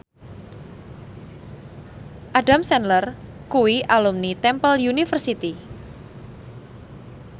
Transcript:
Adam Sandler kuwi alumni Temple University